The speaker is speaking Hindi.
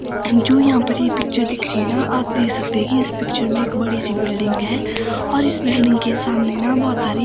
जो यहां पर ये पिक्चर दिख रही है ना आप दे सकते हैं इस पिक्चर में एक बड़ी सी बिल्डिंग है और इस बिल्डिंग के सामने ना बहोत सारी--